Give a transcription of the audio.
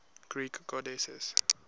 greek goddesses